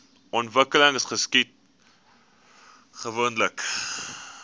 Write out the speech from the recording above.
ontwikkeling geskied gewoonlik